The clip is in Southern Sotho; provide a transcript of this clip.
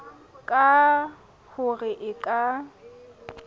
ka ho re e ka